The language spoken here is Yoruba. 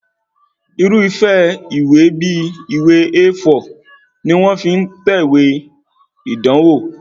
Irúfẹ́ ìwé bí ìwé A4 ni wọ́n fi ń tẹ̀wé ìdánwò